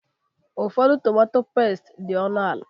Ụfọdụ tomatọ pẹ́sti dị ọnụ ala.